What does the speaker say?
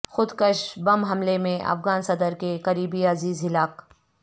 خودکش بم حملے میں افغان صدر کے قریبی عزیز ہلاک